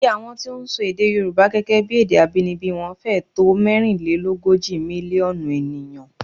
Iye àwọn tí ń sọ èdè Yorùbá gẹ́gẹ́ bí èdè abínibí wọn fẹ́ẹ̀ tó mẹ́rinlélógójì mílíọ̀nù ènìyàn